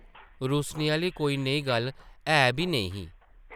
रुस्सने आह्ली कोई नेही गल्ल है बी नेईं ही ।